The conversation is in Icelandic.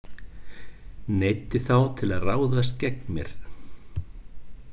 Neyddi þá til að ráðast gegn mér.